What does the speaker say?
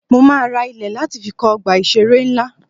Mo máa ra ilẹ̀ láti fi kọ́ Ọgbà ìṣeré ńlá.